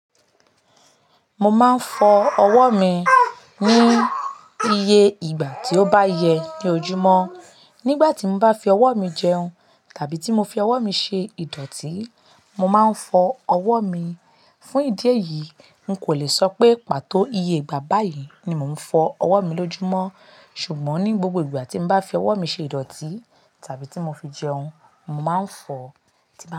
Mo máa ń fọ ọwọ́ mi ní iye ìgbà tí ó bá yẹ ní ojúmọ́. Nígbà tí n bá fi ọwọ́ mi jẹun tàbí tí mo fi ọwọ́ mi ṣe ìdọ̀tí, mo máa ń fọ ọwọ́ mi. Fún ìdí èyí, n kò le sọ pé pàtó iye ìgbà báyìí ni mò ń fọ ọwọ́ mi lójúmọ́. Ṣùgbọ́n ní gbogbo ìgbà tí n bá fi ọwọ́ mi ṣe ìdọ̀tí tàbí tí mo fi jẹun, mo máa ń fọ ọ.